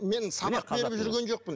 мен сабақ беріп жүрген жоқпын